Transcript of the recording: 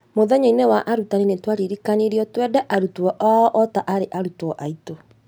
Mũthenya-inĩ wa arutani nĩ twaririkanirio twende arutwo ao ota arĩ arutwo aitũ.